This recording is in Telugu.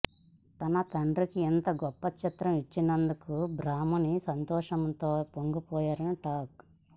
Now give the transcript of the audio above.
తన తండ్రికి ఇంత గొప్ప చిత్రం ఇచ్చినందుకు బ్రాహ్మణి సంతోషంతో పొంగిపోయారని టాక్